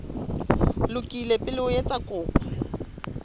lokile pele o etsa kopo